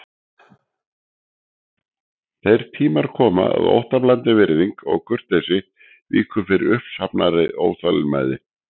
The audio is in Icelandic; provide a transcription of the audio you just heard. Þeir tímar koma að óttablandin virðing og kurteisi víkur fyrir uppsafnaðri óþolinmæði.